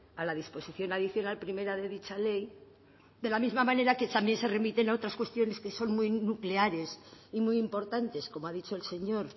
a la disposición adicional primera de dicha ley de la misma manera que también se remiten a otras cuestiones que son muy nucleares y muy importantes como ha dicho el señor